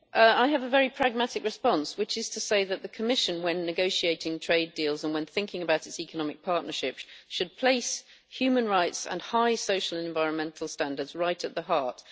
I have a very pragmatic response which is to say that the Commission, when negotiating trade deals and when thinking about its economic partnerships, should place human rights and high social and environmental standards right at the heart.